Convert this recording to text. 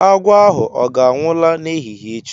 Agwọ ahu ọ ga-anwụ la n'ehihie echi?